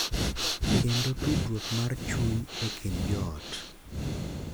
Kendo tudruok mar chuny e kind jo ot.